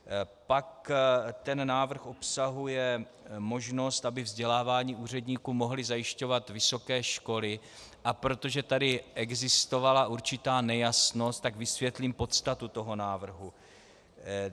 Pak ten návrh obsahuje možnost, aby vzdělávání úředníků mohly zajišťovat vysoké školy, a protože tady existovala určitá nejasnost, tak vysvětlím podstatu toho návrhu.